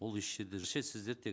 ол еш жерде сіздер тек